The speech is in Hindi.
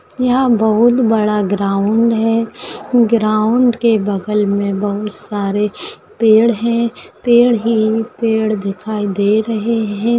यहाँ बहुत बड़ा ग्राउंड है ग्राउंड के बगल मे बहुत सारे पेड़ है पेड़ ही पेड़ दिखाई दे रहे है।